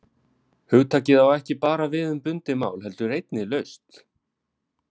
Hugtakið á ekki bara við um bundið mál heldur einnig laust.